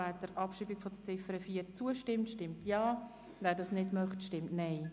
Wer der Abschreibung von Ziffer 4 zustimmt, stimmt Ja, wer dies nicht möchte, stimmt Nein.